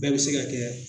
Bɛɛ bɛ se ka kɛ